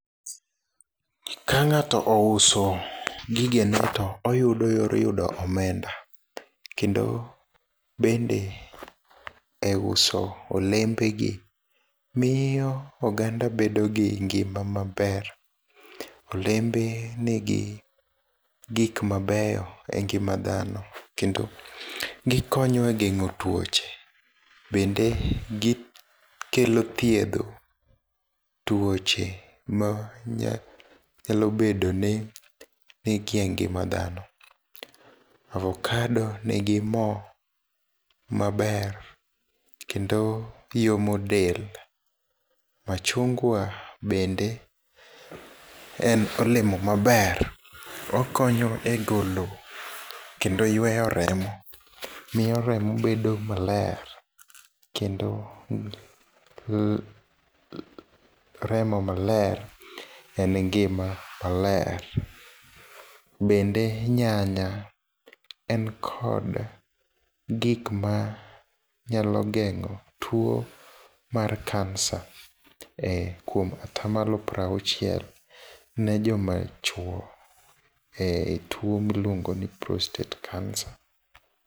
Kang'ato ouso gigene to oyudo yor yudo omenda, kendo bende e uso olembegi, miyo oganda bedogi ngima maber. Olembe nigi gik mabeyo e ngima dhano, kendo gikonyo e geng'o tuoche. Bende gikelo thiedho tuoche manyalo bedoni ni e ngima dhano. Avocado nigi mo maber kendo yomo del. Machungwa bende en olemo maber, okonyo e golo kendo yueyo remo. Miyo remo bedo maler, kendo remo maler en ngima maler. Bende nyanya, en kod gikma nyalo geng'o tuo mar cancer e kuom atamalo pira auchiel ne jomachuo e tuo miluongoni prostate cancer.